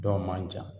Dɔw man jan